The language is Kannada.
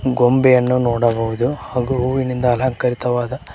ಬೊಂಬೆಯನ್ನು ನೋಡಬಹುದು ಹಾಗು ಹೂವಿನಿಂದ ಅಲಂಕರಿತವಾದ--